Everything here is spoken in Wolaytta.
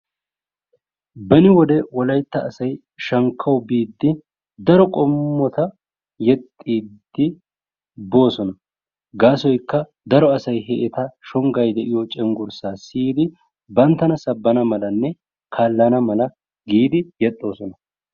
Beni wode wolaytta asay shankkawu biidi daro qommo yetta yexxiidi boossona gaasoykka he eta shonggay de'iyo cenggurssaa siyidi banttana sabbana malanne kaalana giidi yexxoosona.